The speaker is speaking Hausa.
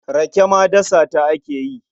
Rake ma dasawa ake yi.